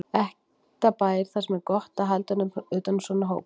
Ekta bær þar sem er gott að halda utan um svona hópa.